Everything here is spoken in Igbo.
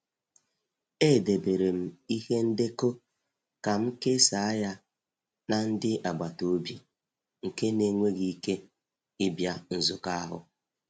Edebere m ihe ndekọ ka m kesaa ya na ndị agbata obi nke n'enweghi ike ịbịa nzukọ ahụ.